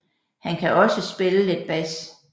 Han kan også spille lidt bas